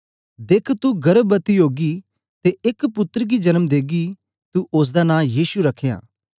देख्ख तू गर्भवती ओगी ते एक पुत्तर गी जन्म देगी तू ओसदा नां यीशु रखयां